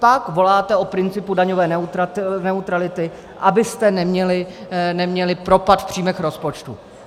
Pak voláte o principu daňové neutrality, abyste neměli propad v příjmech rozpočtu.